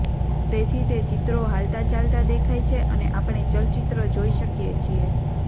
તેથી તે ચિત્રો હાલતાચાલતા દેખાય છે અને આપણે ચલચિત્ર જોઈ શકીએ છીએ